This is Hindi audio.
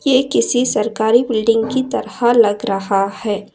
ये किसी सरकारी बिल्डिंग की तरह लग रहा है।